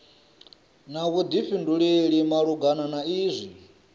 na vhuḓifhinduleli malugana na izwi